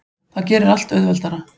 Það gerir allt auðveldara.